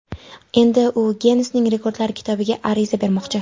Endi u Ginnesning Rekordlar kitobiga ariza bermoqchi.